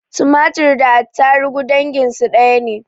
Tumatir da attaruhu danginsu ɗaya ne